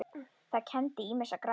Það kenndi ýmissa grasa